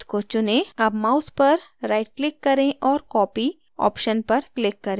अब mouse पर right click करें और copy copy option पर click करें